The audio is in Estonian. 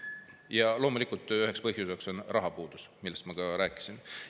Ja loomulikult üheks põhjuseks on rahapuudus, millest ma ka rääkisin.